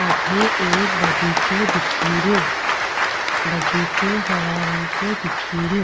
अठे एक बगीचों दिखेरो बगीचों हरा रंग को दिखेरो।